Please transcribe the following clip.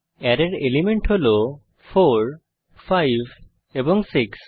অ্যারের এলিমেন্ট হল 4 5 এবং 6